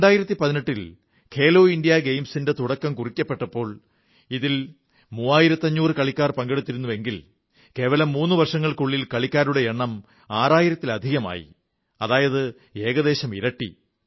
2018 ൽ ഖേലോ ഇന്ത്യാ ഗെയിംസിന്റെ തുടക്കം കുറിക്കപ്പെട്ടപ്പോൾ ഇതിൽ മൂവായിരത്തഞ്ഞൂറ് കളിക്കാർ പങ്കെടുത്തിരുന്നുവെങ്കിലും വെറും മൂന്നു വർഷങ്ങൾക്കുള്ളിൽ കളിക്കാരുടെ എണ്ണം ആറായിരത്തിലധികമായി അതായത് ഏകദേശം ഇരട്ടി